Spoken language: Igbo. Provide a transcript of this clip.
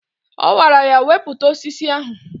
Ọ gwara ya "Wepụta osisi ahụ!